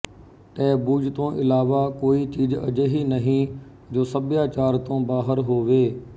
taboos ਤੋਂ ਇਲਾਵਾ ਕੋਈ ਚੀਜ਼ ਅਜਿਹੀ ਨਹੀਂ ਜੋ ਸਭਿਆਚਾਰ ਤੋਂ ਬਾਹਰ ਹੋਵੇ